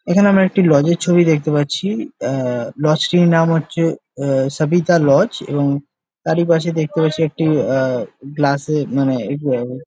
এখানে আমরা একটি লজ -এর ছবিটি দেখতে পারছি। আহ লজ টির নাম হচ্ছে আ সবিতা লজ এবং তারই পাশে রয়েছে একটি আহ গ্লাস এ মানে --